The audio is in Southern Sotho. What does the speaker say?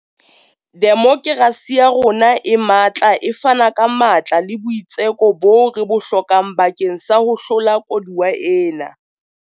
Demokerasi ya rona e matla e fana ka matla le boitseko boo re bo hlokang bakeng sa ho hlola koduwa ena.